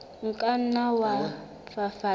o ka nna wa fafatsa